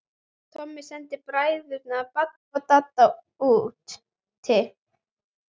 Tommi sendi bræðurna Badda og Danna útí